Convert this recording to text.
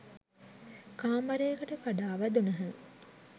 කාමරයට කඩා වැදුණහ